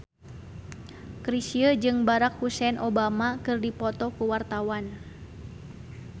Chrisye jeung Barack Hussein Obama keur dipoto ku wartawan